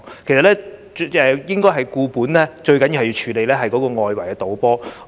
其實，要"固本"最重要是處理外圍賭波的問題。